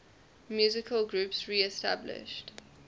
musical groups reestablished